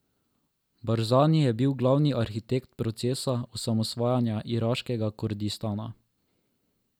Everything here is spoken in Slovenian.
Barzani je bil glavni arhitekt procesa osamosvajanja iraškega Kurdistana.